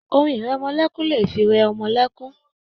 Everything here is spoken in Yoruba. Orin ìrẹmọlẹ́kún lè fi rẹ ọmọ lẹ́kún.